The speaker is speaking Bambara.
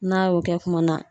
N'a y'o kɛ kuma na